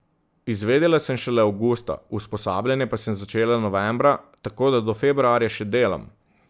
Izvedela sem šele avgusta, usposabljanje pa sem začela novembra, tako da do februarja še delam.